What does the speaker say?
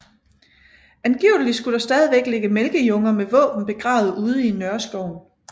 Angiveligt skulle der stadigvæk ligge mælkejunger med våben begravede ude i Nørreskoven